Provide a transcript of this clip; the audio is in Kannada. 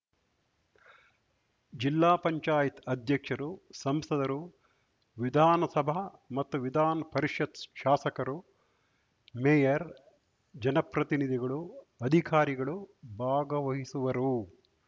ಜಿಲ್ಲಾ ಪಂಚಾಯತ್ ಅಧ್ಯಕ್ಷರು ಸಂಸದರು ವಿಧಾನ ಸಭಾ ಮತ್ತು ವಿಧಾನ್ ಪರಿಷತ್ ಶಾಸಕರು ಮೇಯರ್‌ ಜನಪ್ರತಿನಿಧಿಗಳು ಅಧಿಕಾರಿಗಳು ಭಾಗವಹಿಸುವರು